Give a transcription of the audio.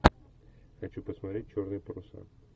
хочу посмотреть черные паруса